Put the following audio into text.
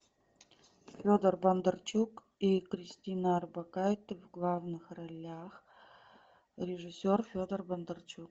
федор бондарчук и кристина орбакайте в главных ролях режиссер федор бондарчук